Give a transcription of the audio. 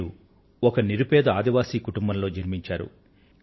వీరు ఒక నిరుపేద ఆదివాసీ కుటుంబంలో జన్మించారు